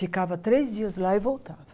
Ficava três dias lá e voltava.